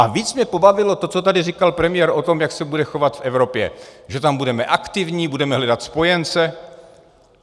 A víc mě pobavilo to, co tady říkal premiér o tom, jak se bude chovat k Evropě, že tam budeme aktivní, budeme hledat spojence.